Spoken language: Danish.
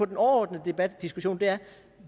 den overordnede debat eller diskussion er